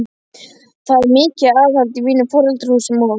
Það var mikið aðhald í mínum foreldrahúsum og